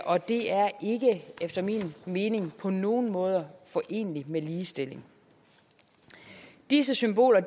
og det er efter min mening på nogen måder foreneligt med ligestilling disse symboler